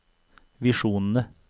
visjonene